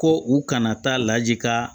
Ko u kana taa laji ka